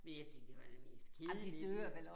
Men jeg tænkte det var da det mest kedelige dyr